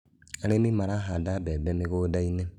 Arĩmĩ marahanda mbembe mĩgũndainĩ